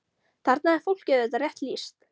Þarna er fólki auðvitað rétt lýst.